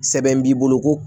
Sɛbɛn b'i bolo ko